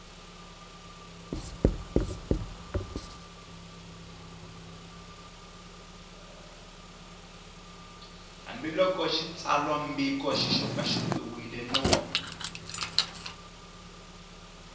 hambiloko xitsalwambiko xi xopaxopiwile no